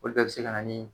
Olu bɛɛ bɛ se ka na ni